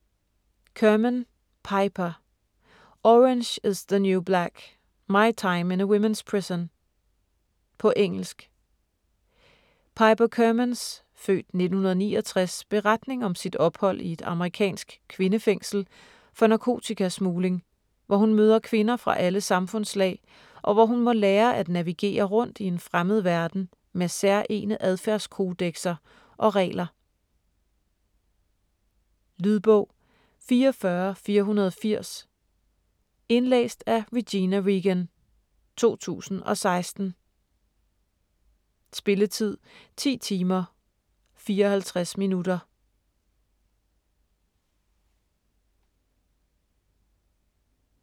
Kerman, Piper: Orange is the new black: my time in a women's prison På engelsk. Piper Kermans (f. 1969) beretning om sit ophold i et amerikansk kvindefængsel for narkotikasmugling, hvor hun møder kvinder fra alle samfundslag, og hvor hun må lære at navigere rundt i en fremmed verden med særegne adfærdskodekser og regler. Lydbog 44480 Indlæst af Regina Reagan, 2016. Spilletid: 10 timer, 54 minutter.